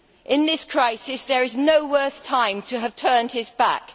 In this crisis there is no worse time to have turned his back.